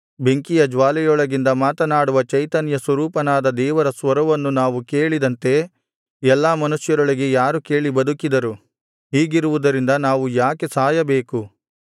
ಬೆಂಕಿಯ ಜ್ವಾಲೆಯೊಳಗಿಂದ ಮಾತನಾಡುವ ಚೈತನ್ಯಸ್ವರೂಪನಾದ ದೇವರ ಸ್ವರವನ್ನು ನಾವು ಕೇಳಿದಂತೆ ಎಲ್ಲಾ ಮನುಷ್ಯರೊಳಗೆ ಯಾರು ಕೇಳಿ ಬದುಕಿದರು ಹೀಗಿರುವುದರಿಂದ ನಾವು ಯಾಕೆ ಸಾಯಬೇಕು